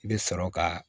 I bɛ sɔrɔ ka